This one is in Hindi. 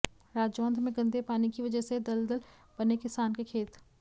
राजौंद में गंदे पानी की वजह से दलदल बने किसानों के खेत